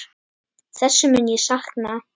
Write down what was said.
Þessa mun ég sakna.